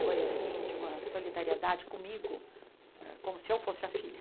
Foi assim de uma solidariedade comigo, como se eu fosse a filha.